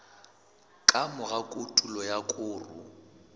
ka mora kotulo ya koro